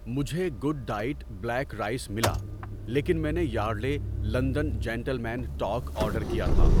مجھے good diet black rice ملا لیکن میں نے Yardley London gentleman talc order کیا تھا۔